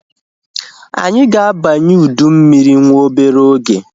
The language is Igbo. Anyị ga-abanye ụdị mmiri nwa obere oge